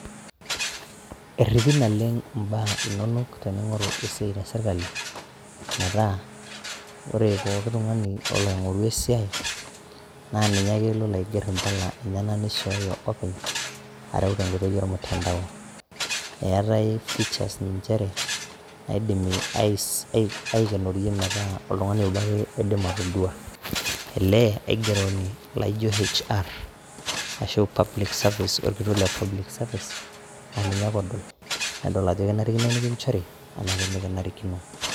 eripi naleng ibaa inonok, tening'oru esiai tesirkali, metaa ore pooki tungani olo aing'oru esiai naa ninye ake lolo aiger impala enyenak nishooyo openy. areu tenkoitoi ormutandao. eetae features inchere naaidimi aikenorie metaa oltungani oobo ake oidim atodua, ele aigeroni laijo hr ashu public service orkitok le public service aa ninye ake odol. nedol ajo kenarikino nikinchori ashu menarikino.